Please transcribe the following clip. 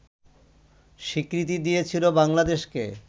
স্বীকৃতি দিয়েছিল বাংলাদেশকে